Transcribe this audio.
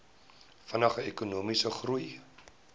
vinniger ekonomiese groei